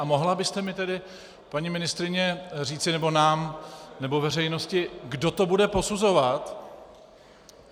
A mohla byste mi tedy, paní ministryně, říci, nebo nám, nebo veřejnosti, kdo to bude posuzovat?